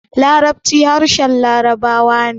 Larabci harshen labarawa ne